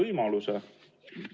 No ei saanud väga palju aru.